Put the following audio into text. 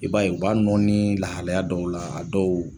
I b'a ye u b'a nɔɔni lahalaya dɔw la a dɔw